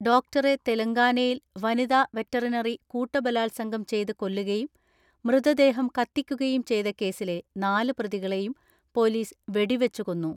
ഡോക്ടറെ തെലങ്കാനയിൽ വനിതാ വെറ്ററിനറി കൂട്ടബലാത്സംഗം ചെയ്ത് കൊല്ലുകയും മൃതദേഹം കത്തിക്കു കയും ചെയ്ത കേസിലെ നാല് പ്രതികളെയും പോലീസ് വെടിവെച്ചു കൊന്നു.